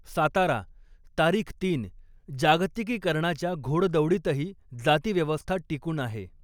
सातारा, तारीख तीन जागतिकीकरणाच्या घौडदौडीतही जातिव्यवस्था टिकून आहे.